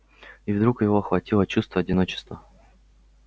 и вдруг его охватило чувство одиночества